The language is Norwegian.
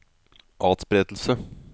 atspredelse